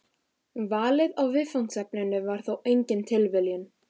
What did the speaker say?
Valið á viðfangsefninu var þó engin tilviljun.